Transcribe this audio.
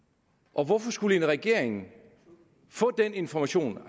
og hvorfor skulle en regering få den information